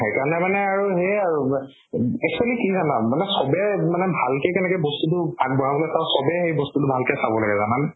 সেইকাৰণে মানে আৰু সেয়ে আৰু উব actually কি জানা মানে চবে মানে ভালকে কেনেকে বস্তুতো আগবঢ়াবলৈ কও চবে সেই বস্তুতো ভালকৈ চাব লাগে জানানে